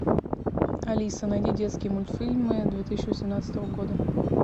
алиса найди детские мультфильмы две тысячи восемнадцатого года